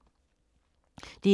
DR2